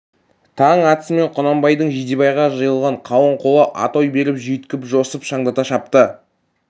таң атысымен құнанбайдың жидебайға жиылған қалың қолы атой беріп жүйткіп жосып шандата шапты